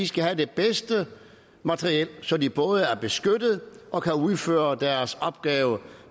skal have det bedste materiel så de både er beskyttet og kan udføre deres opgave